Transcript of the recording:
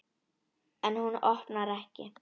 En hún opnar ekki.